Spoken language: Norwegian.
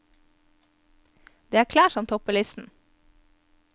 Det er klær som topper listen.